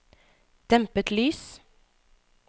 dempet lys